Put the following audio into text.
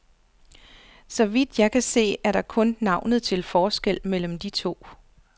Så vidt jeg kan se, er der kun navnet til forskel mellem de to.